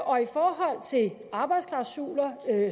og i forhold til arbejdsklausuler